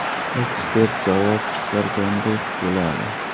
Ekspert javob chiqargandek bo‘ladi.